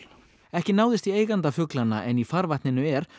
ekki náðist í eiganda fuglanna en í farvatninu er